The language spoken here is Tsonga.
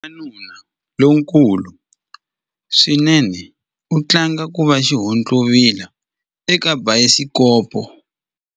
Wanuna lonkulu swinene u tlanga ku va xihontlovila eka bayisikopo.